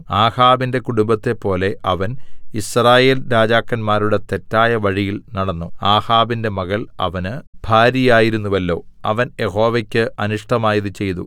ആഹാബിന്റെ കുടുംബത്തെപ്പോലെ അവൻ യിസ്രായേൽ രാജാക്കന്മാരുടെ തെറ്റായ വഴിയിൽ നടന്നു ആഹാബിന്റെ മകൾ അവന് ഭാര്യയായിരുന്നുവല്ലോ അവൻ യഹോവക്ക് അനിഷ്ടമായത് ചെയ്തു